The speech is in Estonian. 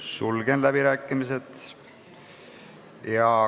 Sulgen läbirääkimised.